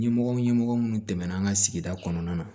Ɲɛmɔgɔ ɲɛmɔgɔ minnu tɛmɛna an ka sigida kɔnɔna na